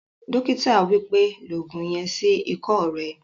Dókítà wípẹ́, "lo ògùn yen sí ikọ́ rẹ